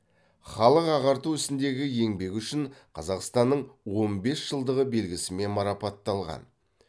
халық ағарту ісіндегі еңбегі үшін қазақстанның он бес жылдығы белгісімен марапатталған